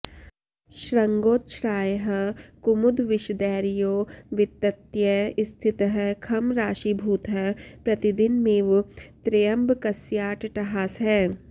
शृङ्गोच्छ्रायैः कुमुदविशदैर्यो वितत्य स्थितः खं राशीभूतः प्रतिदिनमिव त्र्यम्बकस्याट्टहासः